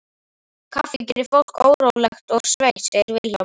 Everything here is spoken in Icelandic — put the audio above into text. Kaffi gerir fólk órólegt og sveitt, segir Vilhjálmur.